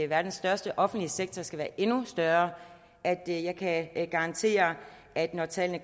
verdens største offentlige sektor skal være endnu større at jeg kan garantere at når tallene